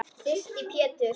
Þyrsti Pétur.